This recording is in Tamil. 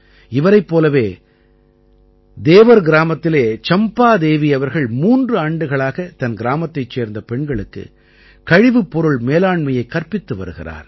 இவரைப் போலவே தேவர் கிராமத்திலே சம்பாதேவி அவர்கள் மூன்று ஆண்டுகளாகத் தன் கிராமத்தைச் சேர்ந்த பெண்களுக்கு கழிவுப் பொருள் மேலாண்மையைக் கற்பித்து வருகிறார்